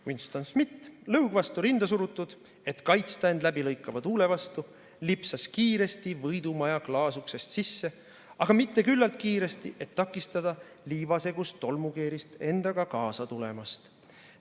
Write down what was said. Winston Smith, lõug vastu rinda surutud, et kaitsta end läbilõikava tuule vastu, lipsas kiiresti Võidu Maja klaasuksest sisse, aga mitte küllalt kiiresti, et takistada liivasegust tolmukeerist endaga kaasa tulemast.